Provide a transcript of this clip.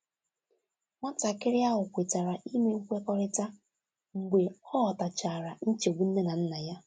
Nwatakịrị ahụ kwetara ime nkwekọrịta mgbe ọ ghọtachara nchegbu nne na nna ya.